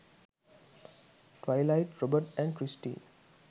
twilight robert & kristen